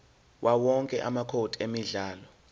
yawowonke amacode emidlalo